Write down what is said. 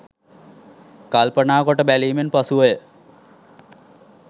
කල්පනා කොට බැලීමෙන් පසුව ය.